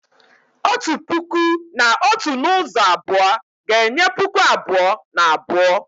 Otu puku na otu n'ụzọ abụọ ga-enye puku abụọ na abụọ